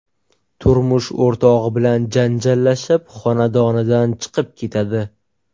turmush o‘rtog‘i bilan janjallashib, xonadonidan chiqib ketadi.